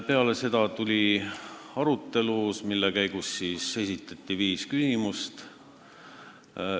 Peale seda tuli arutelu, mille käigus esitati viis küsimust.